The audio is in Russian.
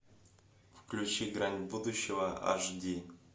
включи грань будущего аш ди